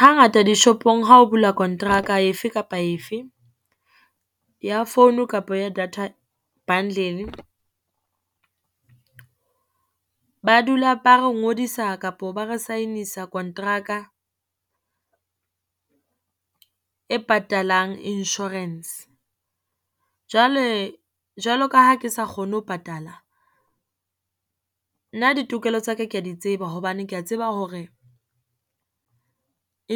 Hangata dishopong ha o bula kontraka efe kapa efe ya founu kapo ya data bundle, ba dula ba re ngodisa kapo ba re sign-isa kontraka e patalang insurance. Jwale, jwalo ka ha ke sa kgone ho patala. Nna ditokelo tsa ka ke ya di tseba, hobane ke ya tseba hore